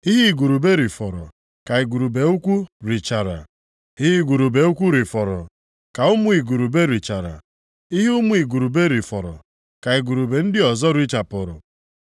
Ihe igurube rifọrọ ka igurube ukwu richara, ihe igurube ukwu rifọrọ, ka ụmụ igurube richara, ihe ụmụ igurube rifọrọ ka igurube ndị ọzọ richapụrụ.